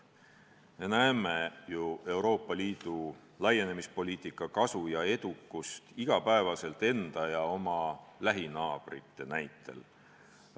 Me näeme ju Euroopa Liidu laienemispoliitika kasu ja edukust iga päev enda ja oma lähinaabrite näitel.